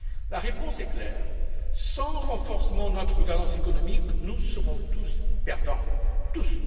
La réponse est claire sans renforcement de notre gouvernance économique, nous serons tous perdants, tous!